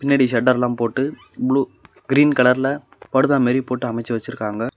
பின்னாடி சட்டர்லா போட்டு ப்ளூ கிரீன் கலர்ல படுதா மாரி போட்டு அமச்சு வச்சிசுருக்காங்க.